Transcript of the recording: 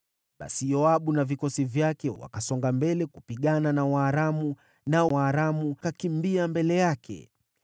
Basi Yoabu na vikosi vyake wakasonga mbele kupigana na Waaramu, nao Waaramu wakakimbia mbele yake.